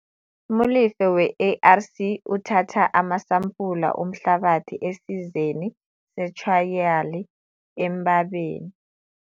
Molefe, we-ARC, uthatha amasampula omhlabathi esizeni sethrayali eMbabane.